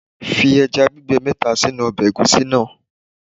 Fi ẹja gbígbẹ mẹ́ta sínú ọbẹ̀ Ẹ̀gúsí náà.